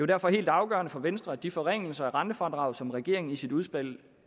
derfor helt afgørende for venstre at de forringelser af rentefradraget som regeringen i sit udspil